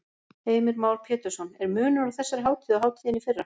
Heimir Már Pétursson: Er munur á þessari hátíð og hátíðinni í fyrra?